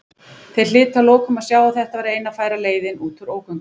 Þeir hlytu að lokum að sjá að þetta væri eina færa leiðin út úr ógöngunum.